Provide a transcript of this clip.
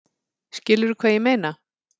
Skilurðu hvað ég meina?